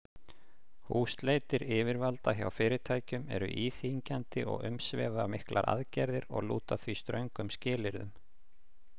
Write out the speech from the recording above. Húsleitir yfirvalda hjá fyrirtækjum eru íþyngjandi og umsvifamiklar aðgerðir og lúta því ströngum skilyrðum.